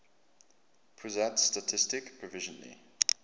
pusat statistik provisionally